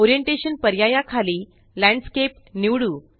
orientation पर्याया खाली landscape निवडू